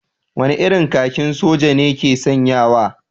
Wane irin kakin soja ne ke sanyawa?